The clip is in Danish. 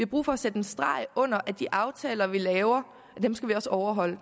brug for at sætte en streg under at de aftaler vi laver skal vi også overholde